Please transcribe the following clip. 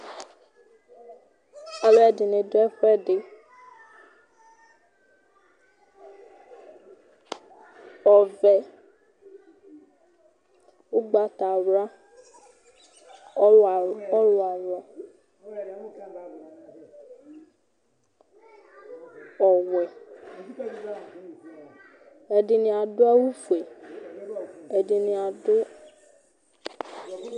Alʋɛdɩnɩ dʋ ɛfʋɛdɩ, ɔvɛ, ʋgbatawla, ɔɣlɔawʋ ɔɣlɔawʋ, ɔwɛ Ɛdɩnɩ adʋ awʋfue, ɛdɩnɩ adʋ